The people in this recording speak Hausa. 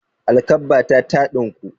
Alkabbata ta ɗinku.